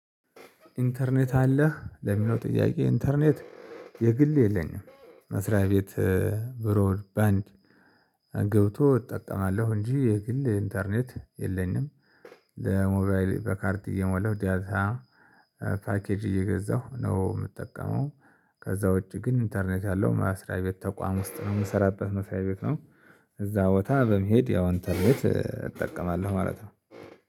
"ኢንተርኔት አለህ?" ለሚለው ጥያቄ፣ ኢንተርኔት የግል የለኝም። መስሪያ ቤት ብሮር ባንድ ገብቶ እጠቀማለሁ እንጂ፤ የግል ኢንተርኔት የለኝም። ለሞባይል በካርድ እየሞላሁ ዳታ ፓኬጅ እየገዛሁ ነው የምጠቀመው። ከዛ ውጪ ግን ኢንተርኔት ያለው መስሪያ ቤት ተቋም ውስጥ ነው የምሰራበት መስሪያ ቤት ነው። እዛ ቦታ በመሄድ ያው ኢንተርኔት እጠቀማለሁ ማለት ነው።